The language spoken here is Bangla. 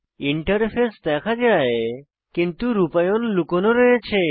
ইন্টারফেস দেখা যায় কিন্তু রূপায়ণ লুকোনো রয়েছে